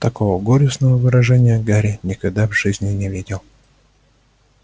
такого горестного выражения гарри никогда в жизни не видел